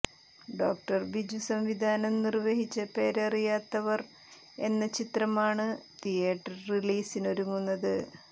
ഡോ ബിജു സംവിധാനം നിർവ്വഹിച്ച പേരറിയാത്തവർ എന്ന ചിത്രമാണ് തിയേറ്റർ റിലീസിനൊരുങ്ങുന്നത്